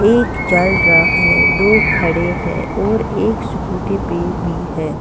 एक चल रहा है दो खड़े हैं और एक स्कूटी पे भी है।